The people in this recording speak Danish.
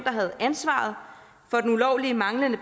havde ansvaret for den ulovlige manglende